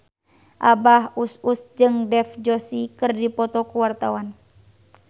Abah Us Us jeung Dev Joshi keur dipoto ku wartawan